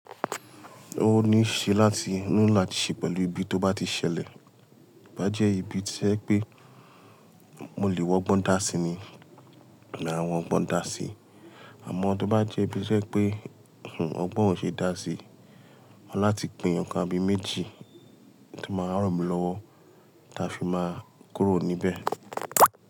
Ó ní ṣe láti nu ilá ti ṣe pẹ̀lú ibi tó bá ti ṣẹlẹ̀. Bá jẹ́ ibi tí ẹ pé mo lè wọ ọgbọ́n dà sí ni, mo lè ra àwọn ọgbọ́n dà sí. Àmọ́ tó bá jẹ́ ibi tí ẹ pé ọgbọ́n ò ṣe é dà sí, mo máa láti gbin nǹkan abẹ́ méjì tí máa ràn mí lọ́wọ́ tí a fi máa kúrò níbẹ̀.